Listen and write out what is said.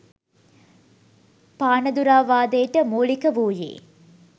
පානදුරාවාදයට මූලික වූයේ